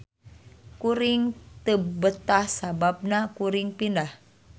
Kuring teu betah sababna kuring pindah